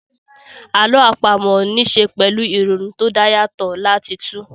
Àlọ́ àpamọ́ ní ṣe pẹ̀lú ìrònú tó dá yàtọ̀ láti túu